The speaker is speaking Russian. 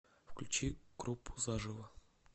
включи группу заживо